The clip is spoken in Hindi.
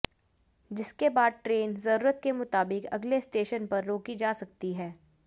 जिसके बाद ट्रेन जरूरत के मुताबिक अगले स्टेशन पर रोकी जा सकती है